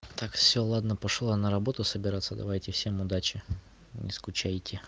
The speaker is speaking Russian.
так все ладно пошёл я на работу собираться давайте всем удачи не скучайте